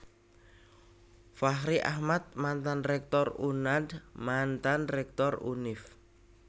Fachri Ahmad Mantan Rektor Unand Mantan Rektor Univ